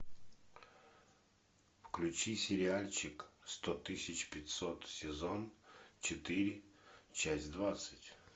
включи сериальчик сто тысяч пятьсот сезон четыре часть двадцать